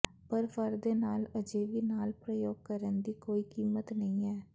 ਪਰ ਫਰ ਦੇ ਨਾਲ ਅਜੇ ਵੀ ਨਾਲ ਪ੍ਰਯੋਗ ਕਰਨ ਦੀ ਕੋਈ ਕੀਮਤ ਨਹੀਂ ਹੈ